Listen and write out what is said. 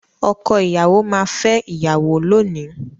Ọkọ ìyàwó máa fẹ́ ìyàwó lónìí.